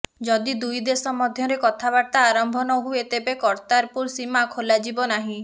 ଯଦି ଦୁଇ ଦେଶ ମଧ୍ୟରେ କଥାବାର୍ତ୍ତା ଆରମ୍ଭ ନହୁଏ ତେବେ କରତାରପୁର ସୀମା ଖୋଲାଯିବ ନାହିଁ